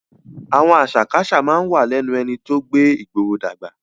Àwọn àṣà kí àṣà máa ń wà lẹ́nu ẹni tó gbé ìgboro dàgbà